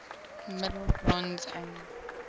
middle bronze age